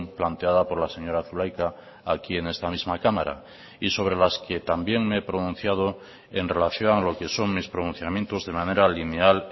planteada por la señora zulaika aquí en esta misma cámara y sobre las que también me he pronunciado en relación a lo que son mis pronunciamientos de manera lineal